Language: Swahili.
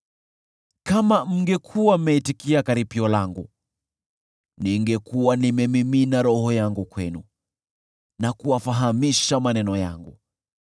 Kama mngekuwa mmeitikia karipio langu, ningekuwa nimemimina roho yangu kwenu na kuwafahamisha maneno yangu.